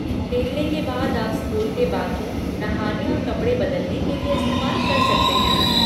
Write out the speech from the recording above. खेलने के बाद आप स्कूल के बाथरूम नहाने और कपड़े बदलने के लिए इस्तेमाल कर सकते हैं।